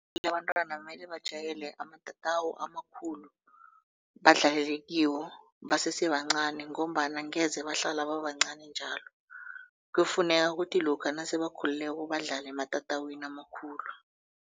Labantwana mele bajayele amatatawu amakhulu badlalele kiwo basesebancani ngombana angeze bahlala babancani njalo kuyafuneka ukuthi lokha nasebakhulileko badlale ematatawini amakhulu.